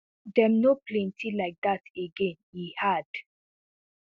dem no plenty like dat again e add